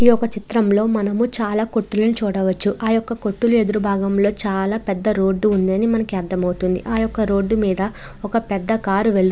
ఈ యొక్క చిత్రంలోని మనము చాలా కొట్టులను చూడవచ్చు. ఆ యొక్క కొట్టులు ఎదురు భాగంలో చాలా పెద్ద రోడ్డు ఉందని మనకి అర్థమవుతుంది . ఆ యొక్క రోడ్డు మీద ఒక పెద్ద కార్ వెల్--